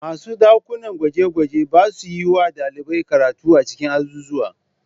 Masu aikin ɗakunan gwaje-gwaje ba sa yi wa ɗalibai karatu a cikin azuzuwa